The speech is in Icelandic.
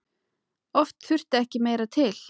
Oft þurfti ekki meira til.